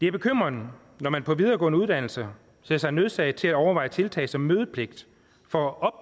er bekymrende når man på videregående uddannelser ser sig nødsaget til at overveje tiltag som mødepligt for at